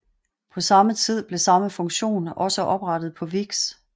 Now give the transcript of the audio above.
På samme tid blev samme funktion også oprettet på Vix